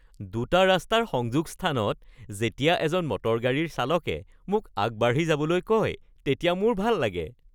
দুটা ৰাস্তাৰ সংযোগ স্থানত যেতিয়া এজন মটৰ-গাড়ীৰ চালকে মোক আগবাঢ়ি যাবলৈ কয়, তেতিয়া মোৰ ভাল লাগে